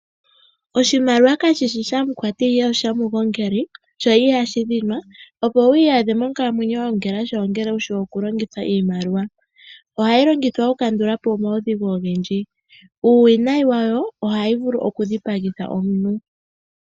Oshimaliwa kashishi shamukwati ihe oshamugongeli sho ihashi dhinqa opo wu iyadhe monkalamwenyo wagongela sha ongele wushi okulongitha iimaliwa. Ohayi longithwa oku kandulapo omaudhigu ogendji. Uuwinayi wayo ohayi vulu okudhipagitha omuntu.